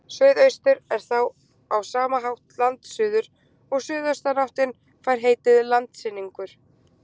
suðaustur er þá á sama hátt landsuður og suðaustanáttin fær heitið landsynningur